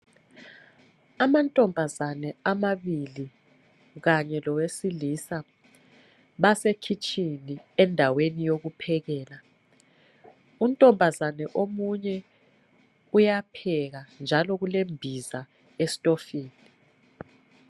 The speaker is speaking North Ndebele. Amantombazane amabili kanye lowesilisa basekhitshini endaweni yokuphekela. Untombazane omunye uyapheka njalo kulembiza estofini.